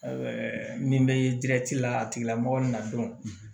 min bɛ la a tigilamɔgɔ na